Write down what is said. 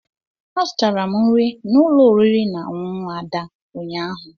Azụtara m nri n'ụlọ oriri na ọṅụṅụ Ada ụnyaahụ.